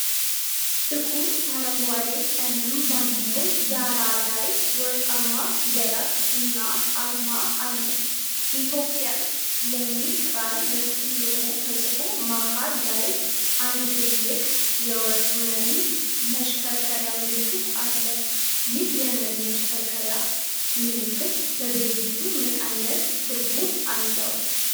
ጥቁር አረንጓዴ ቀለም ባለው ዳራ ላይ ወርቃማ ፊደላት እና አርማ አለ። "ETHI OPIAN" የሚለው ቃል በትልቁ ተጽፎ መሃል ላይ አንድ ትልቅ የወርቅ መሪ መሽከርከሪያ ምልክት አለ። ይህ የመሪ መሽከርከሪያ ምልክት ለድርጅቱ ምን ዓይነት ትርጉም አለው?